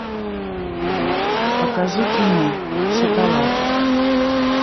покажи кино шоколад